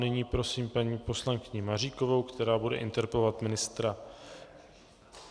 Nyní prosím paní poslankyni Maříkovou, která bude interpelovat ministra...